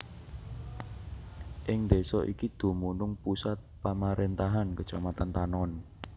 Ing désa iki dumunung pusat pamaréntahan Kecamatan Tanon